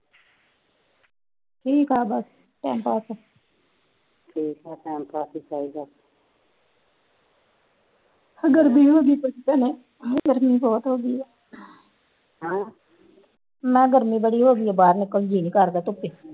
ਗਰਮੀ ਹੋਗੀ ਭੈਣੇ ਗਰਮੀ ਬਹੁਤ ਹੋਗੀ ਹਮ ਮੈ ਗਰਮੀ ਬੜੀ ਹੋਗੀ ਬਾਹਰ ਨਿਕਲਣ ਨੂੰ ਜੀ ਨੀ ਕਰਦਾ ਧੂਪੇ